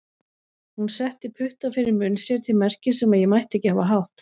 Hún setti putta fyrir munn sér til merkis um að ég mætti ekki hafa hátt.